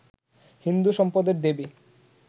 হিন্দু সম্পদের দেবী